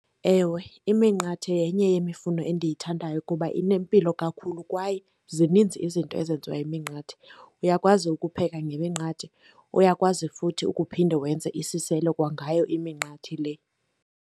Ewe, iminqathe yenye yemifuno endiyithandayo kuba inempilo kakhulu kwaye zininzi izinto ezenziwa yiminqathe. Uyakwazi ukupheka ngeminqathe, uyakwazi futhi ukuphinde wenze isiselo kwangayo iminqathe le.